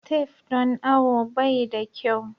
Tef don awo bai da kyau.